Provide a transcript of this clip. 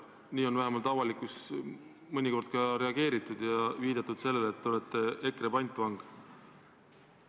Nii on vähemalt ka avalikkuses mõnikord reageeritud, viidates sellele, et te olete EKRE pantvang.